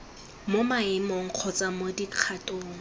mo maemong kgotsa mo dikgatong